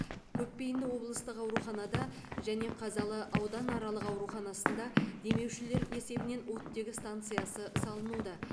көпбейінді облыстық ауруханада және қазалы ауданаралық ауруханасында демеушілер есебінен оттегі станциясы салынуда